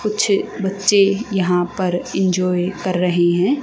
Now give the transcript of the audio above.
कुछ बच्चे यहां पर इंजॉय कर रहे हैं।